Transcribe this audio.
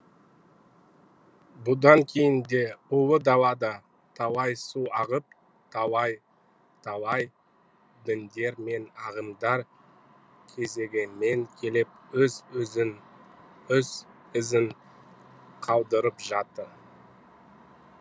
бұдан кейін де ұлы далада талай су ағып талай талай діндер мен ағымдар кезегімен келіп өз ізін қалдырып жатты